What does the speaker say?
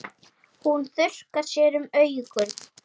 Hún þurrkar sér um augun.